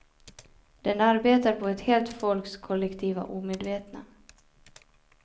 Den arbetar på ett helt folks kollektiva omedvetna.